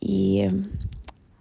и